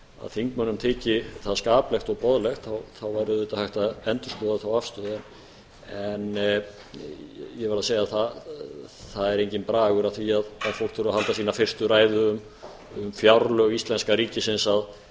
þingmönnum þyki það skaplegt og boðlegt þá væri auðvitað hægt að endurskoða þá afstöðu ég verð að segja það að það er enginn bragur á því að fólk þurfi að halda sína fyrstu ræðu um fjárlög íslenska ríkisins